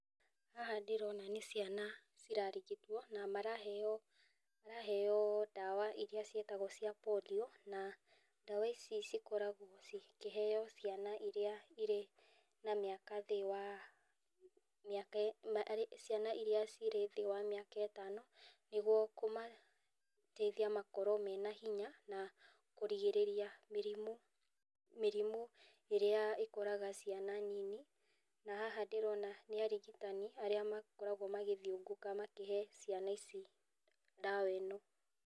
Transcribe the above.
Haha ndĩrona nĩ ciana cirarigitwo, na maraheo ndawa iria ciĩtagwo cia Polio, ndawa ici cikoragwo cikĩheo ciana iria irĩ na mwaka thĩ wa mĩaka, ciana iria ci thĩ wa mĩaka ĩtano nĩguo kũmateithia makorwo mena hinya kũrigĩrĩria mĩrimũ, mĩrimũ ĩrĩa ĩkoraga ciana nini , na haha ndĩrona nĩ arigitani arĩa makoragwo magĩthiũngũka makĩhe ciana ici ndawa ĩno.